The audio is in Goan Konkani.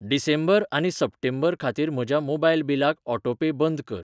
डिसेंबर आनी सप्टेंबर खातीर म्हज्या मोबायल बिलाक ऑटोपे बंद कर.